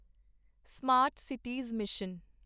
smart cities mission